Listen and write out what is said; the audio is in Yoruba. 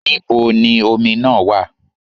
Níbo ni omi náà wà?